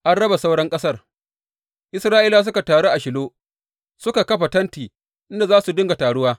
An raba sauran ƙasar Isra’ilawa duka suka taru a Shilo suka kafa tenti inda za su dinga taruwa.